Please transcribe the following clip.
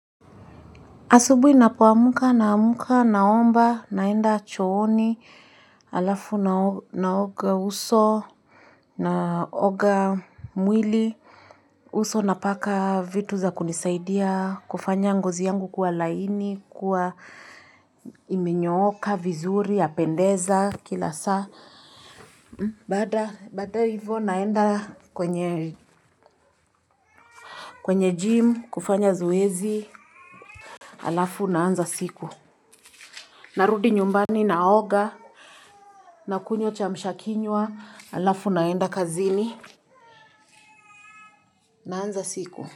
Asubuhi ninapoamka na amka na omba naenda chooni alafu naoga naoga uso naoga mwili. Uso napaka vitu za kunisaidia kufanya ngozi yangu kuwa laini kwa imenyooka vizuri yapendeza kila saa. Baada hivyo naenda kwenye jim kufanya zoezi alafu naanza siku. Narudi nyumbani naoga na kunywa kiamshakinywa alafu naenda kazini naanza siku.